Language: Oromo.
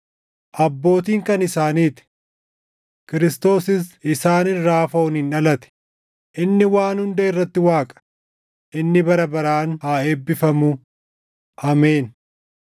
Abbootiin kan isaanii ti; Kiristoosis + 9:5 yookaan Masiihichis isaan irraa fooniin dhalate; inni waan hunda irratti Waaqa; inni bara baraan haa eebbifamu! Ameen.